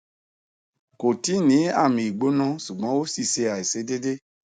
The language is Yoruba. ko ti ni ami igbona sugbon o si se aisedeede